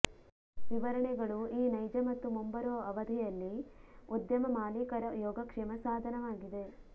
ವಿವರಣೆಗಳು ಈ ನೈಜ ಮತ್ತು ಮುಂಬರುವ ಅವಧಿಯಲ್ಲಿ ಉದ್ಯಮ ಮಾಲೀಕರ ಯೋಗಕ್ಷೇಮ ಸಾಧನವಾಗಿದೆ